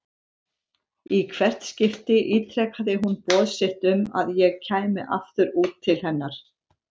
Í hvert skipti ítrekaði hún boð sitt um að ég kæmi aftur út til hennar.